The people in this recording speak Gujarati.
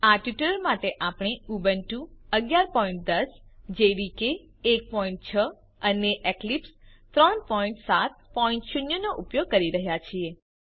આ ટ્યુટોરીયલ માટે આપણે ઉબુન્ટુ 1110 જેડીકે 16 અને એક્લિપ્સ 370 નો ઉપયોગ કરી રહ્યા છીએ